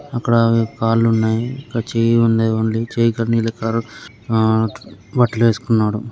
అక్కడ అవి కాళ్ళు ఉన్నయి. ఇంకా చెయ్యి ఉన్నది. ఓన్లీ చెయ్యి కడిగిన ఆ బట్టలేసుకున్నాడు.